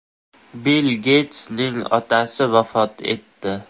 Bill Geytsning otasi vafot etdi.